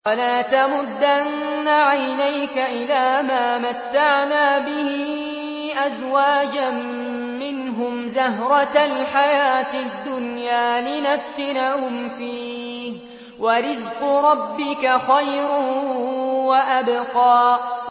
وَلَا تَمُدَّنَّ عَيْنَيْكَ إِلَىٰ مَا مَتَّعْنَا بِهِ أَزْوَاجًا مِّنْهُمْ زَهْرَةَ الْحَيَاةِ الدُّنْيَا لِنَفْتِنَهُمْ فِيهِ ۚ وَرِزْقُ رَبِّكَ خَيْرٌ وَأَبْقَىٰ